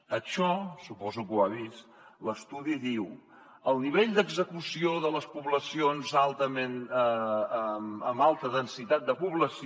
en això suposo que ho ha vist l’estudi diu el nivell d’execució de les poblacions amb alta densitat de població